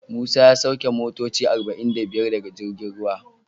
Musa ya sauki motoci arba'in da biyar daga girjin ruwa.